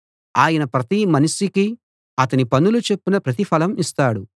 ఆయన ప్రతి మనిషికీ అతని పనుల చొప్పున ప్రతిఫలం ఇస్తాడు